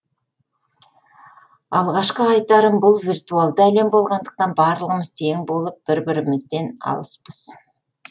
алғашқы айтарым бұл виртуалды әлем болғандықтан барлығымыз тең болып бір бірімізден алыспыз